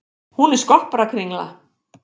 Hún er skopparakringla.